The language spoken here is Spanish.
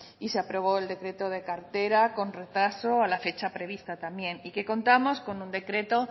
y se aprobó el decreto de cartera con retraso a la fecha prevista también y que contamos con un decreto